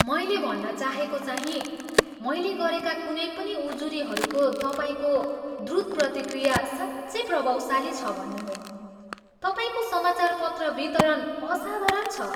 मैले भन्न चाहेको चाहीँ मैले गरेका कुनै पनि उजुरीहरूको तपाईँको द्रुत प्रतिक्रिया साँच्चै प्रभावशाली छ भन्ने हो। तपाईँको समाचारपत्र वितरण असाधारण छ।